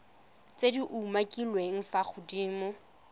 tse di umakiliweng fa godimo